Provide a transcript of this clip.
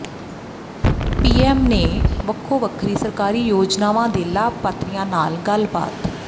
PM ਨੇ ਵੱਖੋ ਵੱਖਰੀ ਸਰਕਾਰੀ ਯੋਜਨਾਵਾਂ ਦੇ ਲਾਭਪਾਤਰੀਆਂ ਨਾਲ ਗੱਲਬਾਤ